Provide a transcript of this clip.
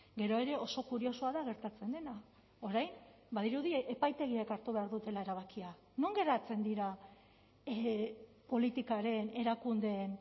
gero ere oso kuriosoa da gertatzen dena orain badirudi epaitegiek hartu behar dutela erabakia non geratzen dira politikaren erakundeen